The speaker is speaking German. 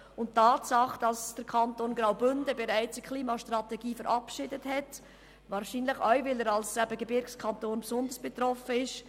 Die Tatsache, dass der Kanton Graubünden bereits eine Klimastrategie verabschiedet hat, kommt wahrscheinlich von daher, dass er als Gebirgskanton besonders stark betroffen ist.